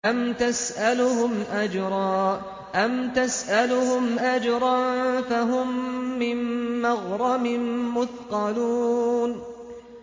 أَمْ تَسْأَلُهُمْ أَجْرًا فَهُم مِّن مَّغْرَمٍ مُّثْقَلُونَ